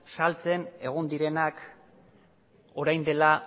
saltzen egon direnak orain dela